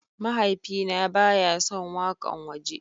Mahaifina ba ya son wakan waje.